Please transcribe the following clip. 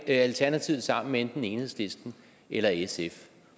alternativet sammen med enten enhedslisten eller sf